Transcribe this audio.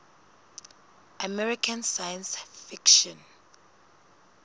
american science fiction